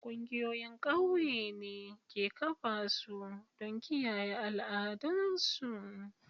Ƙungiyoyin ƙauye ne ke kafa su don kiyaye al'adun su.